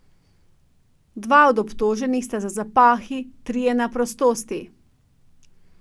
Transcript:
Dva od obtoženih sta za zapahi, trije na prostosti.